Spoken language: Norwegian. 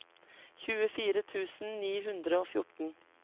tjuefire tusen ni hundre og fjorten